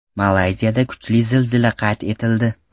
Malayziyada kuchli zilzila qayd etildi.